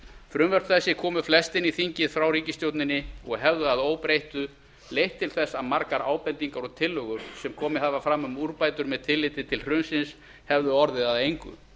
frumvörp þessi komu flest inn í þingið frá ríkisstjórninni og hefðu að óbreyttu leitt til þess að margar ábendingar og tillögur sem komið hafa fram um úrbætur með tilliti til hrunsins hefðu orðið að engu